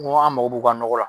Ko an mako b'u ka nɔgɔ la